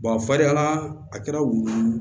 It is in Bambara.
farinyala a kɛra wulu ye